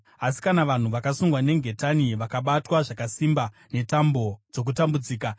Asi kana vanhu vakasungwa nengetani, vakabatwa zvakasimba netambo dzokutambudzika,